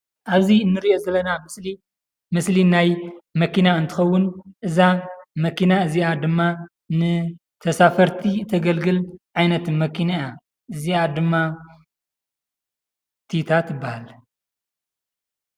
ኣበዚ እንሪኦ ዘለና ምስሊ ምስሊ ናይ መኪና እንትከውን እዛ መኪና እዛአ ድማ ንተሳፈርቲ ተገልግል ዓይነት መኪና እያ፡፡ እዛአ ድማ ቲታ ትበሃል፡፡